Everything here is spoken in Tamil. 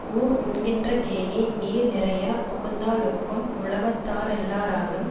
ஊர் உண்கின்ற கேணி நீர் நிறைய புகுந்தாலொக்கும் உலகத்தாரெல்லாராலும்